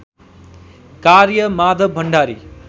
कार्य माधव भण्डारी